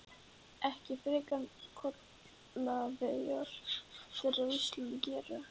Ekki frekar en kollegar þeirra á Íslandi gera.